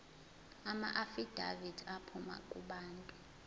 amaafidavithi aphuma kubantu